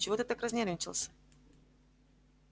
чего ты так разнервничался